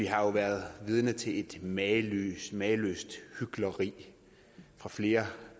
har været vidne til et mageløst mageløst hykleri fra flere